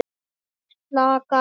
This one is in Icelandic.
Og slakar á.